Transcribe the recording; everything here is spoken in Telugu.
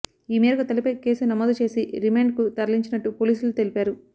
ఈ మేరకు తల్లిపై కేసు నమోదు చేసి రిమాండ్ కు తరలించినట్టు పోలీసులు తెలిపారు